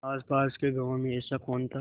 आसपास के गाँवों में ऐसा कौन था